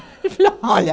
olha.